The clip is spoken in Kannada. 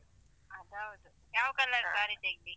ಅದ್ ಹೌದು. ಯಾವ color saree ತೆಗ್ದಿ?